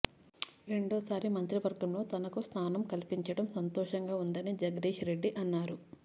రెండోసారి మంత్రివర్గంలో తనకు స్థానం కల్పించడం సంతోషంగా ఉందని జగదీశ్ రెడ్డి అన్నారు